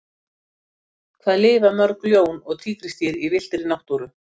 hvað lifa mörg ljón og tígrisdýr í villtri náttúru